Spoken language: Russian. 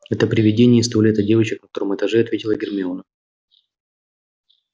это привидение из туалета девочек на втором этаже ответила гермиона